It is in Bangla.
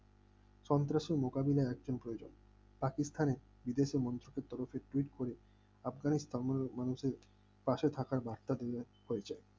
সন্ত্রাসের মোকাবেলায় একজন প্রয়োজন পাকিস্তানি বিদেশি মন্ত্রীদের তরফে twite করে আফগানিস্তান মানুষ মানুষের পাসে থাকার রাস্তা বার্তা প্রয়োজন